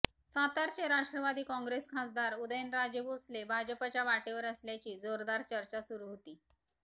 सातारचे राष्ट्रवादी कॉंग्रेस खासदार उदयनराजे भोसले भाजपच्या वाटेवर असल्याची जोरदार चर्चा सुरु होती